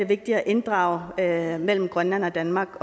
vigtigt at inddrage mellem grønland og danmark